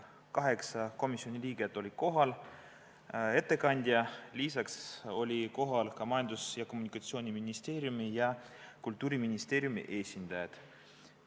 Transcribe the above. Kaheksa komisjoni liiget olid kohal ja ka ettekandja, lisaks olid kohal Majandus- ja Kommunikatsiooniministeeriumi ja Kultuuriministeeriumi esindajad.